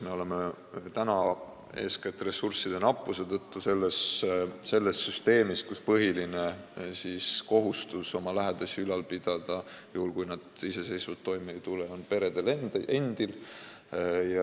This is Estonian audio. Meil on eeskätt ressursside nappuse tõttu see süsteem, et põhiline kohustus oma lähedasi ülal pidada – juhul, kui need iseseisvalt toime ei tule – on peredel.